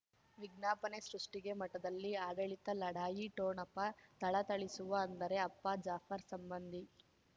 ವಿಜ್ಞಾಪನೆ ಸೃಷ್ಟಿಗೆ ಮಠದಲ್ಲಿ ಆಡಳಿತ ಲಢಾಯಿ ಠೋಣಪ ಥಳಥಳಿಸುವ ಅಂದರೆ ಅಪ್ಪ ಜಾಫರ್ ಸಂಬಂಧಿ